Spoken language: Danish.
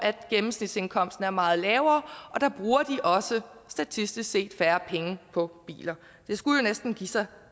gennemsnitsindkomsten er meget lavere og der bruger de statistisk set også færre penge på biler det skulle jo næsten give sig